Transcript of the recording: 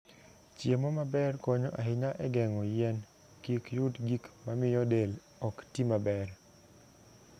Chiemo maber konyo ahinya e geng'o yien kik yud gik mamiyo del ok ti maber.